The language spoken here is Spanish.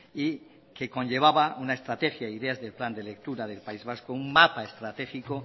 y que conllevaba una estrategia e ideas del plan de lectura del país vasco un mapa estratégico